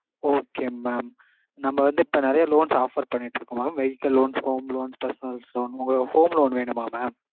okay mam. நம்ம வந்து இப்போ நெறைய loans offer பண்ணிட்டு இருக்கோம் mam vehicle loans home loans personal loans உங்களுக்கு home loan வேணுமா mam?